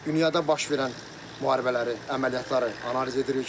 Dünyada baş verən müharibələri, əməliyyatları analiz edirik.